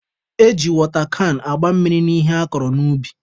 E ji wọta kan agba mmiri n'ihe akọrọ n'ubi.